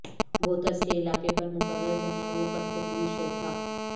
booths کے علاقے پر مقرر جہاں وہ کٹھ پتلی شو تھا